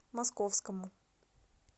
московскому